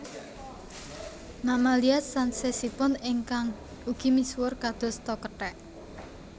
Mamalia sansesipun ingkang ugi misuwur kados ta kethek